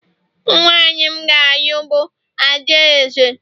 nwanyị m ga-alụ bụ adaeze